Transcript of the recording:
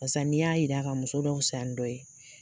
Barisa n'i y'a yira ka muso dɔ fisaya ni dɔ ye